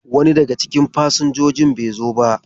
Wani daga cikin fasinjojin bai zo ba.